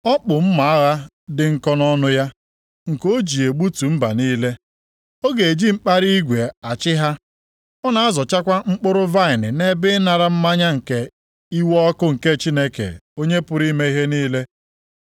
Ọ kpụ mma agha dị nkọ nʼọnụ ya, nke o ji egbutu mba niile. “Ọ ga-eji mkpara igwe achị ha.” + 19:15 \+xt Abụ 2:9\+xt* Ọ na-azọchakwa mkpụrụ vaịnị nʼebe ịnara mmanya nke iwe ọkụ nke Chineke Onye pụrụ ime ihe niile.